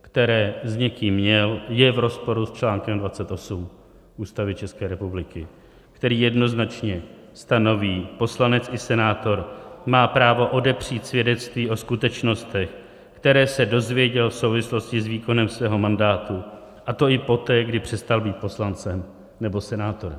které s někým měl, je v rozporu s článkem 28 Ústavy České republiky, který jednoznačně stanoví: poslanec i senátor má právo odepřít svědectví o skutečnostech, které se dozvěděl v souvislosti s výkonem svého mandátu, a to i poté, kdy přestal být poslancem nebo senátorem.